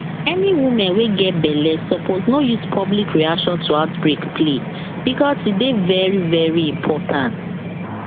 any women wey get belle suppose no use public reaction to outbreak play because e dey very very important